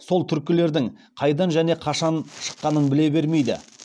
сол түркілердің қайдан және қашан шыққанын біле бермейді